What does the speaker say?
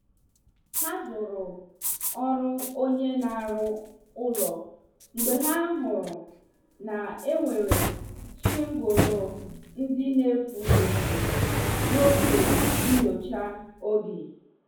Ha zuru ọrụ onye na- aru ụlọ mgbe ha hụrụ na enwere shingulu ndị na- efu efu, n' oge nnyocha oge.